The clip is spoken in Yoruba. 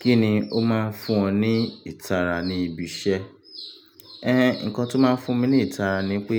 Kíni ó máa ń fún ọ ní ìtara ní ibi iṣẹ́? Ẹn, nǹkan tó máa ń fún mi ní ìtara ni pé